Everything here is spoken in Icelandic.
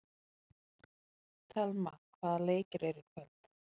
Thelma, hvaða leikir eru í kvöld?